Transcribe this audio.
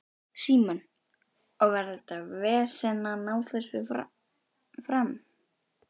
Símon: Og var þetta vesen að ná þessu fram?